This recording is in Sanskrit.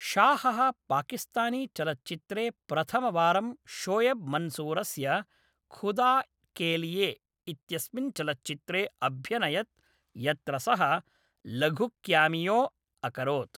शाहः पाकिस्तानी चलच्चित्रे प्रथमवारं शोयेब् मन्सूरस्य ख़ुदा के लिए इत्यस्मिन् चलच्चित्रे अभ्यनयत्, यत्र सः लघुक्यामियो अकरोत्।